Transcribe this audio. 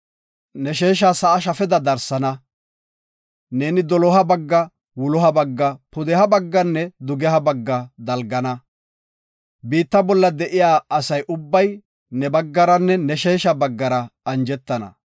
Ne sheesha sa7a shafeda darsana. Neeni doloha bagga, wuloha bagga, pudeha bagganne dugeha bagga dalgana. Biitta bolla de7iya asa ubbay ne baggaranne ne sheesha baggara anjetana.